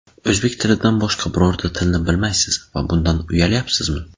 O‘zbek tilidan boshqa birorta tilni bilmaysiz va bundan uyalyapsizmi?